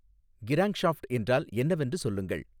crankshaft என்றால் என்னவென்று சொல்லுங்கள்